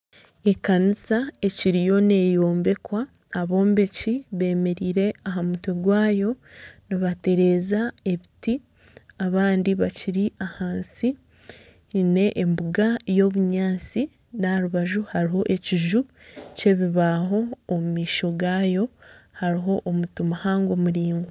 Ekanisa ekiriyo neeyombekwa, abombeki bemereire aha mutwe gwayo nibatereeza ebiti abandi abakiri ahansi haine embuga y'obunyaatsi na aharubaju hariho ekiiju ky'ebibaho omu maisho gaayo hariho omuti muhango muraingwa